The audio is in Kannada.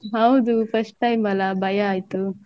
ಹೌದು first time ಅಲ್ಲ ಭಯ ಆಯ್ತು .